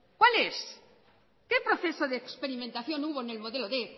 cuáles qué proceso de experimentación hubo en el modelo quinientos